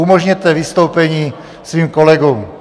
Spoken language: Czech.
Umožněte vystoupení svým kolegům.